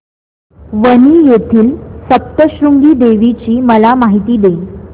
वणी येथील सप्तशृंगी देवी ची मला माहिती दे